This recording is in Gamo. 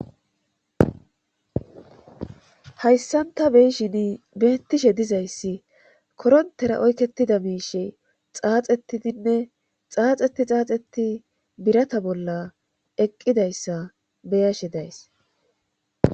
hayssanta beyshin beettishe dizayssi korontera oykketida miishe xaaxetidinne xaaxeti xaaxeti birata bolla eqqidayssa beyashe days